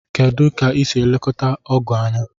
kedụ ka isi elekọta ogu anya?